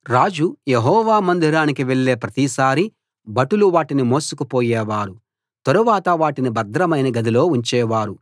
రాజు యెహోవా మందిరానికి వెళ్ళే ప్రతిసారీ భటులు వాటిని మోసుకు పోయేవారు తరువాత వాటిని భద్రమైన గదిలో ఉంచేవారు